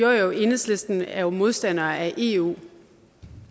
og ja i enhedslisten er vi modstandere af eu